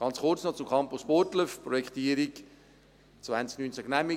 Noch kurz zum Campus Burgdorf: Die Projektierung wurde 2019 genehmigt.